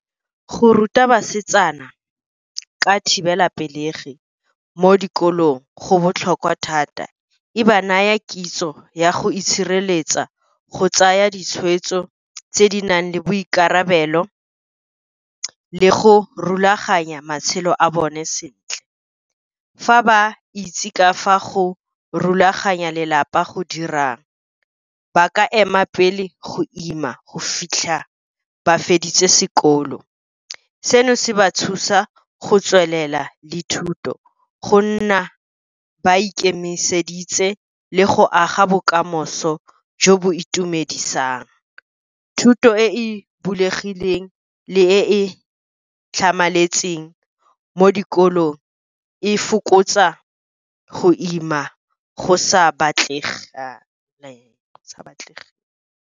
Go ruta basetsana ka thibelapelegi mo dikolong go botlhokwa thata. E ba naya kitso ya go itshireletsa, go tsaya ditshweetso tse di nang le boikarabelo, le go rulaganya matshelo a bone sentle. Fa ba itse ka fa go rulaganya lelapa go dirang, ba ka ema pele go ima go fitlha ba feditse sekolo. Seno se ba thusa go tswelela le thuto, go nna ba ikemiseditse, le go aga bokamoso jo bo itumedisang. Thuto e e bulegileng le e e tlhamaletseng mo dikolong e fokotsa go ima go sa batlege.